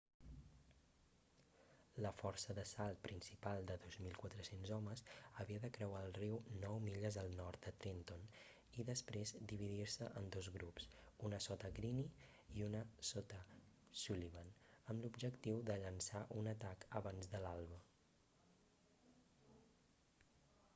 la força d'assalt principal de 2.400 homes havia de creuar el riu nou milles al nord de trenton i després dividir-se en dos grups un sota greene i un sota sullivan amb l'objectiu de llençar un atac abans de l'alba